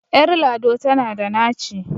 Ƴar lado tana da naci.